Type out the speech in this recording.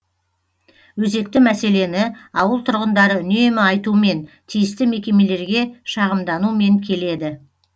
өзекті мәселені ауыл тұрғындары үнемі айтумен тиісті мекемелерге шағымданумен келеді